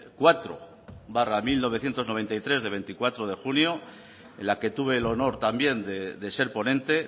cuatro barra mil novecientos noventa y tres de veinticuatro de junio en la que tuve el honor también de ser ponente